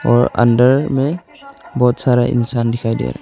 और अंदर में बहुत सारा इंसान दिखाई दे रहा --